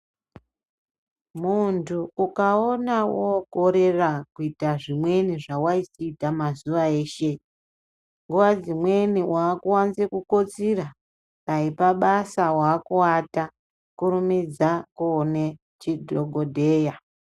Muntu ukaona wokorera kuita zvimweni zvawaisiita mazuwa eshe, nguva dzimweni wakuwanze kukotsira, dai pabasa, wakuwata kurumidza koone chidhogodheya.